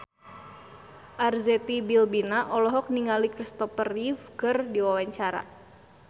Arzetti Bilbina olohok ningali Christopher Reeve keur diwawancara